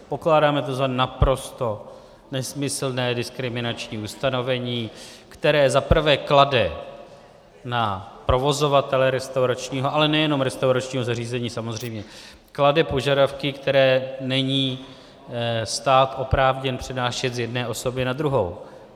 Pokládáme to za naprosto nesmyslné, diskriminační ustanovení, které zaprvé klade na provozovatele restauračního, ale nejenom restauračního zařízení samozřejmě, klade požadavky, které není stát oprávněn přenášet z jedné osoby na druhou.